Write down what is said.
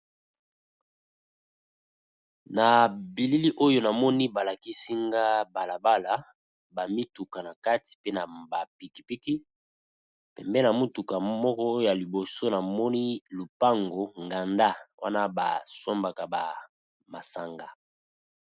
Na bilili oyo namoni ba lakisi nga bala bala ba mituka na kati pe na ba piki piki, pembeni na motuka moko ya liboso namoni lupango nganda wana ba sombaka ba masanga.